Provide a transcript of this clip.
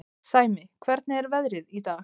Sæmi, hvernig er veðrið í dag?